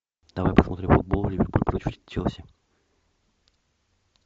давай посмотрим футбол ливерпуль против челси